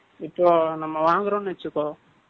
இப்போ, நம்ம வாங்குறோம்னு வச்சுக்கோ